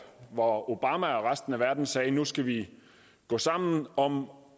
hvor obama og resten af verden sagde at nu skal vi gå sammen om